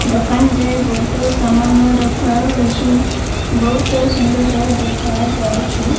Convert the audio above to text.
ଦୋକାନରେ ବୋହୁତ ସାମାନ ରଖା ହୋଇଛି ବୋହୁତ ସୁନ୍ଦର ଦେଖାଯାଉଚି।